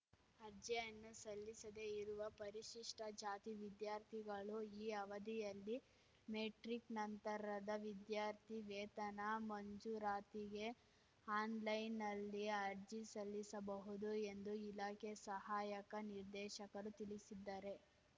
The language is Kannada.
ಅರ್ಜಿಯನ್ನು ಸಲ್ಲಿಸದೇ ಇರುವ ಪರಿಶಿಷ್ಟಜಾತಿ ವಿದ್ಯಾರ್ಥಿಗಳು ಈ ಅವಧಿಯಲ್ಲಿ ಮೆಟ್ರಿಕ್‌ ನಂತರದ ವಿದ್ಯಾರ್ಥಿ ವೇತನ ಮಂಜೂರಾತಿಗೆ ಆನ್‌ಲೈನ್‌ನಲ್ಲಿ ಅರ್ಜಿ ಸಲ್ಲಿಸಬಹುದು ಎಂದು ಇಲಾಖೆ ಸಹಾಯಕ ನಿರ್ದೇಶಕರು ತಿಳಿಸಿದ್ದಾರೆ